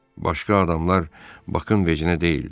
Başqa adamlar Bakın vecinə deyildi.